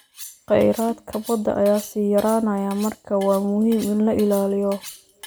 Khayraadka badda ayaa sii yaraanaya, markaa waa muhiim in la ilaaliyo.